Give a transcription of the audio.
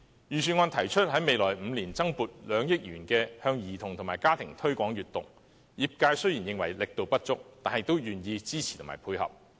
預算案提出在未來5年增撥2億元，向兒童及家庭推廣閱讀，業界雖然認為力度不足，但也願意支持和配合。